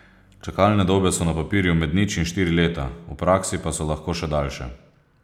Čakalne dobe so na papirju med nič in štiri leta, v praksi pa so lahko še daljše.